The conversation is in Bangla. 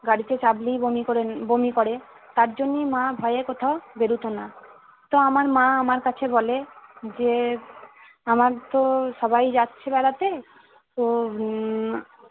গাড়িতে চাপলেই বমি করেন বমি করে তার জন্যই মা ভয়ে কোথাও বের হতনা। তো আমার মা আমার কাছে বলে যে আমার তো সবাই যাচ্ছি বেড়াতে তো উম